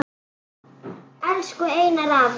Elsku Einar afi.